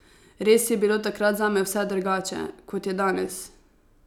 Res je bilo takrat zame vse drugače, kot je danes.